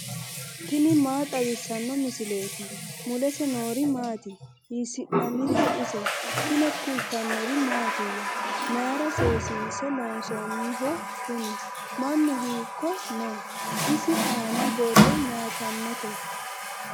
tini maa xawissanno misileeti ? mulese noori maati ? hiissinannite ise ? tini kultannori mattiya? Mayiira seesinse loonsoonniho kunni? mannu hiikko noo? isi aani borro mayiittanotte?